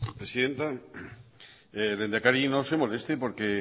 presidenta lehendakari no se moleste porque